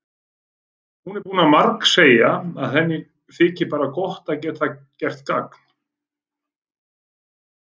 Hún er búin að margsegja að henni þyki bara gott að geta gert gagn.